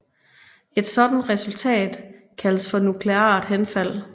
Et sådant resultat kaldes for nukleart henfald